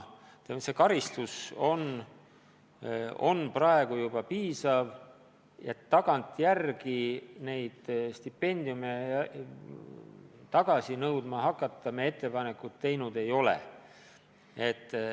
See karistus on juba piisav ja ettepanekut tagantjärele stipendiume tagasi nõudma hakata me teinud ei ole.